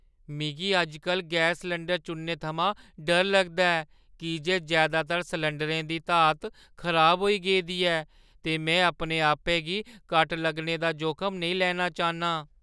मिगी अज्ज-कल gas cylinder चुनने थमां डर लगदा ऐ की जे जैदातर सलैंडरें दी धात खराब होई गेदी ऐ ते में अपने आपै गी कट लाने दा जोखम नेईं लेना चाह्न्नां।